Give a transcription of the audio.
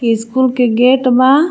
की स्कूल के गेट बा.